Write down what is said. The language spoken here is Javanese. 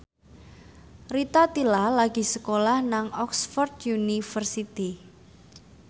Rita Tila lagi sekolah nang Oxford university